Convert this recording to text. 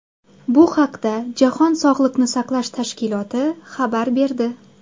Bu haqda Jahon sog‘liqni saqlash tashkiloti xabar berdi .